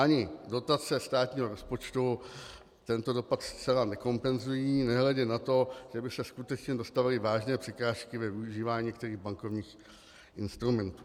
Ani dotace státního rozpočtu tento dopad zcela nekompenzují, nehledě na to, že by se skutečně dostavily vážné překážky ve využívání některých bankovních instrumentů.